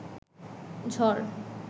ঝড়